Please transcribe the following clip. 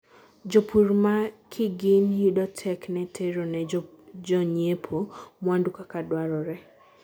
jopur ma kigin yudo tek ne tero ne jonyiepo mwandu kaka dwarore